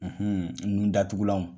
Unhun nun datugulanw.